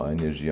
energia